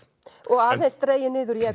og aðeins dregið niður í